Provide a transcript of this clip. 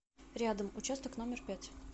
рядом участок номер пять